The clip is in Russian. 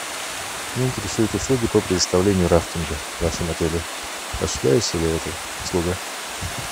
меня интересуют услуги по предоставлению рафтинга в вашем отеле осуществляется ли эта услуга